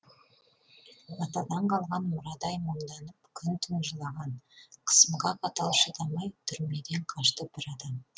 атадан қалған мұрадай мұңданып күн түн жылаған қысымға қатал шыдамай түрмеден қашты бір адам